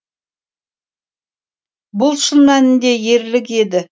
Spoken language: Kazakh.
бұл шын мәнінде ерлік еді